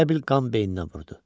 Elə bil qan beyninə vurdu.